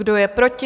Kdo je proti?